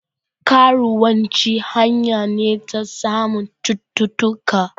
Karuwanci hanya ne ta samun cuttutuka